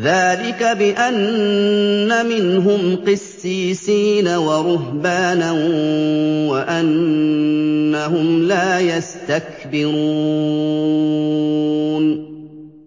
ذَٰلِكَ بِأَنَّ مِنْهُمْ قِسِّيسِينَ وَرُهْبَانًا وَأَنَّهُمْ لَا يَسْتَكْبِرُونَ